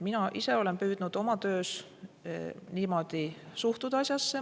Mina ise olen püüdnud oma töös niimoodi asjasse suhtuda.